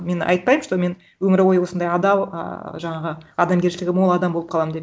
мен айтпаймын что мен өмір бойы осындай адал ыыы жаңағы адамгершілігі мол адам болып қаламын деп